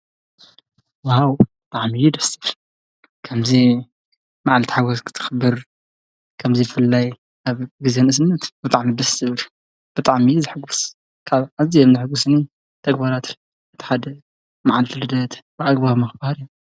ወሃው ተዓሚዪ ደስድ ከም መዓል ቲሓጐስ ክትኽብር ከምዙይ ፍላይ ኣብ ጊዜንእስምት ብጥዕሚ ብስ ሥብር ብጥዕሚ ዘሕጕስ ካብ እዝ የምነሕጕስኒ ተግባራትር እተሓደ መዓልቲልደት ብዕግባ መኽባር እየ።